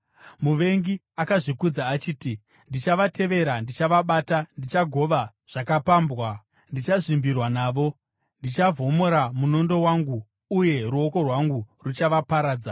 “Muvengi akazvikudza achiti, ‘Ndichavatevera, ndichavabata. Ndichagova zvakapambwa; ndichazvimbirwa navo. Ndichavhomora munondo wangu uye ruoko rwangu ruchavaparadza.’